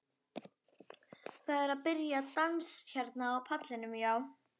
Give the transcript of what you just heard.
Það er að byrja dans hérna á pallinum, já.